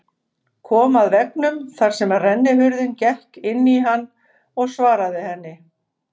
Kom að veggnum þar sem rennihurðin gekk inn í hann og svaraði henni